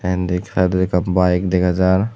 tey endi saaidodi ekkan bike dagajar.